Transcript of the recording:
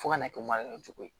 Fo ka n'a kɛ cogo ye